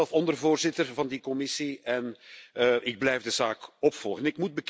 Ik was zelf ondervoorzitter van die commissie en ik blijf de zaak opvolgen.